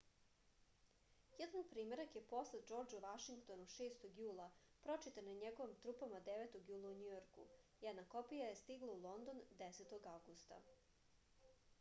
jedan primerak je poslat džordžu vašingtonu 6. julaa pročitana je njegovim trupama 9. jula u njujorku jedna kopija je stigla u london 10. avgusta